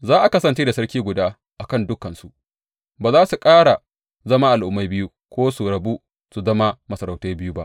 Za a kasance da sarki guda a kan dukansu ba za su ƙara zama al’ummai biyu ko su rabu su zama masarautai biyu ba.